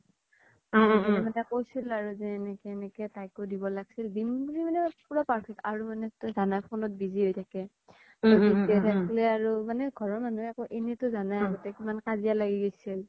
উম উম বোবিন দাদাই কইছিল আৰু তাইকো যে এনেকে এনেকে তাইকো দিব লাগিছিল দিম মানে পুৰা perfect আৰু তই জানই phone ত busy হয় থাকে উম উম ঘৰৰ মনুহতো এনে তো যানাই আৰু আগ্তে কিমান কাজিয়া লাগি গেছিল